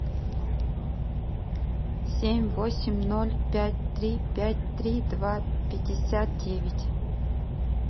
семь восемь ноль пять три пять три два пятьдесят девять